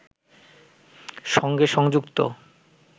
সঙ্গে সংযুক্ত